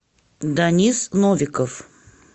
данис новиков